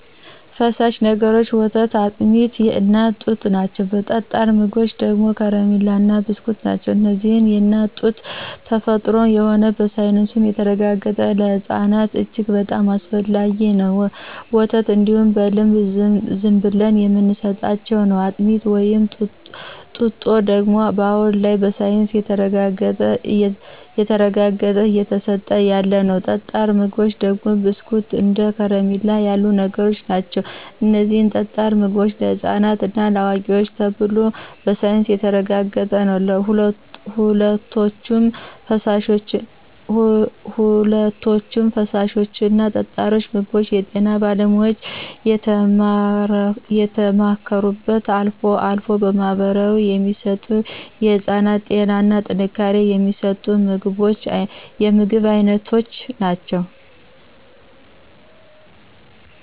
ፈሳሽ ነገሮች ወተት አጥሚት የእናት ጡት ናቸው ጠጣር ምግቦች ደግሞ ከረማላ እና ብስኩት ናቸው እነዚህም የእናት ጡት ተፈጥሮም ነው በሳይንሱም የተረጋገጠ ለህፅናት እጅግ በጣም አስፈላጊ ነው፣ ወተት እንዲሁ በልምድ ዝምብለን የምንስጣቸው ነው፣ አጥሚት ወይም ጡጦ ደግሞ አሁን ላይ በሳይንስ ተረጋግጦ እየተስጠ ያለ ነው። ጠጣር ምግቦች ደግሞ ብስኩት እንደ ከረሚላ ያሉ ነገሮች ናቸው እነዚህም ጠጣር ምግቦች ለህፃናት እና ለአዋቂዎች ተብሎ በሳይንስ የተረጋገጠ ነው። ሁለቶችም ፍሳሾች እና ጠጣር ምግቦች የጤና ባለሙያዎች የተማከሩበት አልፎ አልፎ በባህላዊ የሚሰጡ የህፅናትን ጤና እና ጥንካሬ የሚስጡ የምግብ አይነቶች ናቸው።